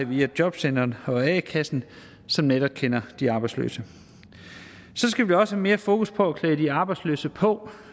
vide af jobcenteret og a kassen som netop kender de arbejdsløse så skal vi også have mere fokus på at klæde de arbejdsløse på